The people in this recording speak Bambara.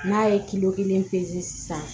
N'a ye kelen pezeli san